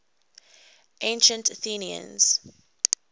ancient athenians